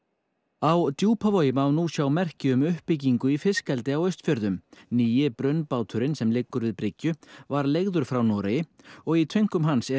á Djúpavogi má nú sjá merki um uppbyggingu í fiskeldi á Austfjörðum nýi brunnbáturinn sem liggur við bryggju var leigður frá Noregi og í tönkum hans er